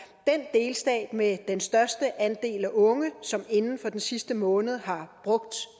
delstat med den største andel af unge som inden for den sidste måned har brugt